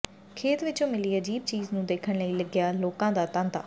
ਖੇਤ ਵਿਚੋਂ ਮਿਲੀ ਅਜੀਬ ਚੀਜ਼ ਨੂੰ ਦੇਖਣ ਲਈ ਲੱਗਿਆ ਲੋਕਾਂ ਦਾ ਤਾਂਤਾ